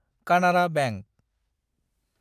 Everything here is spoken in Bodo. कानारा बेंक